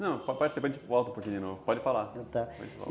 Não, pode ser que a gente volte um pouquinho de novo, pode falar. Ah, tá.